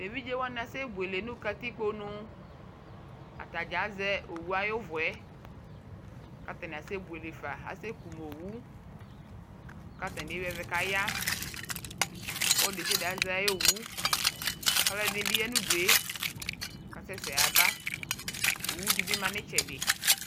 Eviɖʒewa asɛbuele nu ktikponu ataɖʒaƶɛ owuayuvuɛ katani asɛbuele fa Asɛ kuowu katani ewi ɛvɛ kaya Oludesiade aƶɛ ayɔwu Aluɛdini bi ya nudue kasɛsɛ yabaa owu dibi ma itsɛdi